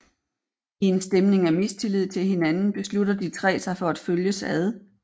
I en stemning af mistillid til hinanden beslutter de tre sig for at følges ad